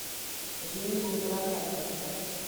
жених напрокат поставь